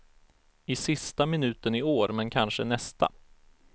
I sista minuten i år, men kanske nästa.